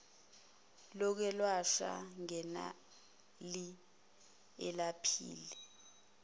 lokwelashwa ganeli alephuli